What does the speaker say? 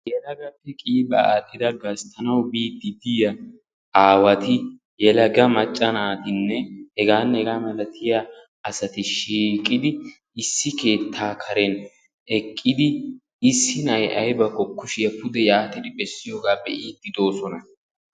Yelagati qiibaa aadhdhidi gasttanawu biiddi diya aawati yalaga macca naatinne hegaanne hegaa malatiya asati shiiqidi Issi keettaa Karen eqqidi issi na"ayi aybakko kushiya pude yaatidi bessiyogaa be'iiddi doosona.